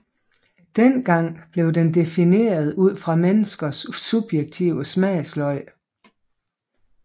Dengang blev den defineret ud fra menneskers subjektive smagsløg